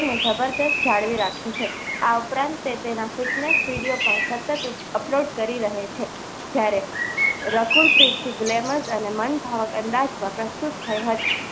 જાળવી રાખ્યું છે આ ઉપરાંત તે તેના fitness video પણ સતત upload કરી રહે છે જ્યારે રકુલ પ્રીતની ગ્લેમરસ અને મન ફાવે અંદાજમાં પ્રસ્તુત થઈ હતી.